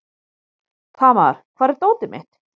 Tamar, hvar er dótið mitt?